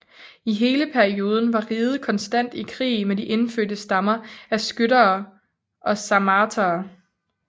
I hele perioden var riget konstant i krig med de indfødte stammer af skytere og sarmatere